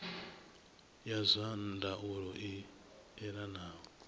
ya zwa ndaulo i elanaho